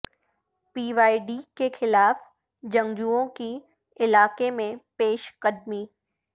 پی Y D کے خلاف جنگجووں کی علاقے میں پیش قدمی